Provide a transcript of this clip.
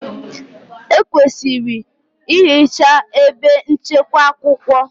Ekwesịrị ehichaa ebe nchekwa akwụkwọ.